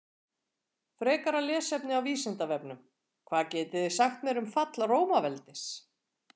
Frekara lesefni á Vísindavefnum: Hvað getiði sagt mér um fall Rómaveldis?